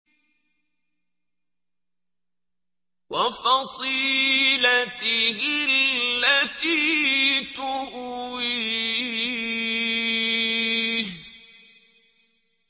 وَفَصِيلَتِهِ الَّتِي تُؤْوِيهِ